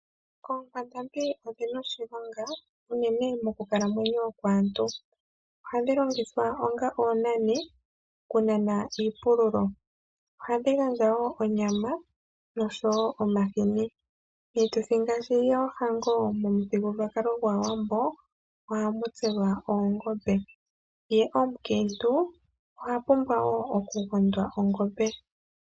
Oonkwandambi odhina oshilonga unene mokukalamwenyo kwaantu. Ohadhi longithwa onga oonani kunana iipululo. Ohadhi gandja wo onyama nosho wo omahini. Miituthi ngaashi yoohango momuthigululwakalo gwAawambo ohamu tselwa oongombe, ye omukiintu ohapumbwa wo okugondwa ongombe.